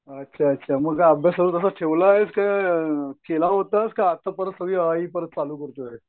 अच्छा अच्छा मग अभ्यास कसं ठेवलायस केला होतास का आत्ता परत चालू करतोय?